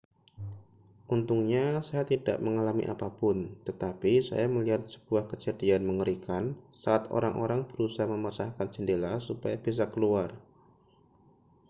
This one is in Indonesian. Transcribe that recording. untungnya saya tidak mengalami apa pun tetapi saya melihat sebuah kejadian mengerikan saat orang-orang berusaha memecahkan jendela supaya bisa keluar